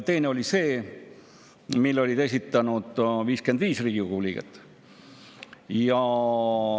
Teine oli see, mille olid esitanud 55 Riigikogu liiget.